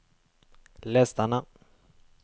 les denne